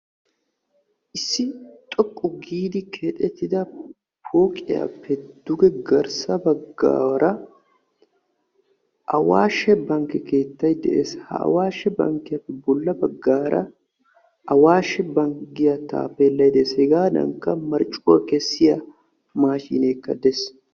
Issi xoqqu giidi keexxetida pooqiyappe duge garssa baggaara Awashshe bankke keettay de'ees. Ha Awashshe bankkiyappe bolla baggaara Awashshi Banki giya taapelay de'ees. Hegadankka marccuwa kessiya maashshimekka de'ees.